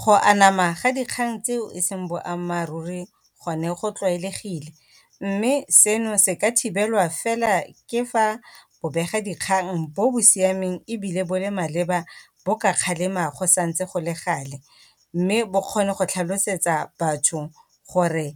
Go anama ga dikgang tseo e seng boammaaruri gone go tlwaelegile, mme seno se ka thibelwa fela ke fa bobega dikgang bo bo siameng ebile bo le maleba bo ka kgalema go santse go le gale. Mme bo kgone go tlhalosetsa batho gore